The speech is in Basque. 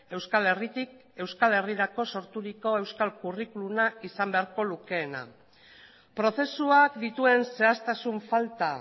euskal herritik euskal herrirako sorturiko euskal curriculuma izan beharko lukeena prozesuak dituen zehaztasun falta